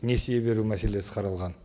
несие беру мәселесі қаралған